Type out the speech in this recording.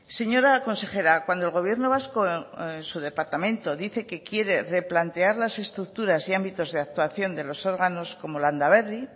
señora consejera cuando el gobierno vasco en su departamento dice que quiere replantear las estructuras de ámbitos de actuación de los órganos como landaberri